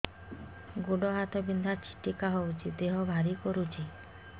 ଗୁଡ଼ ହାତ ବିନ୍ଧା ଛିଟିକା ହଉଚି ଦେହ ଭାରି କରୁଚି